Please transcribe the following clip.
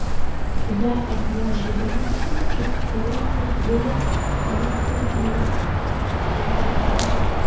я от неожиданности чуть с колен сергея не сверзилась